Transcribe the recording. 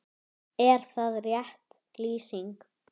Er það rétt lýsing?